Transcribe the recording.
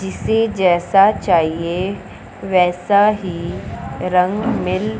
जिसे जैसा चाहिए वैसा ही रंग मिल--